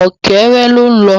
Ọ̀kẹ́rẹ́ ló ń lọ